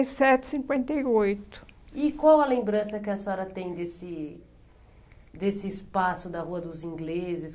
E sete, cinquenta e oito. E qual a lembrança que a senhora tem desse desse espaço da Rua dos Ingleses?